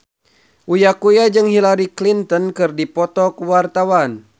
Uya Kuya jeung Hillary Clinton keur dipoto ku wartawan